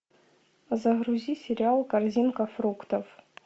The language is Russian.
загрузи сериал корзинка фруктов